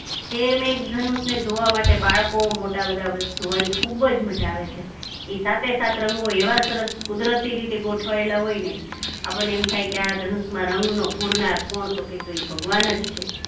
તો મેઘધનુષને જોવા માટે બાળકો મોટા બધા જોવાની ખુબ મજા આવે છે કે સાતે સાત રંગો એવા સરસ કુદરતી રીતે ગોઠવાયેલા હોય ને આપણને એમ થાય કે આ ધનુષમાં રંગનો પૂરનાર કોણ તો કે ઈ તો ભગવાન જ છે.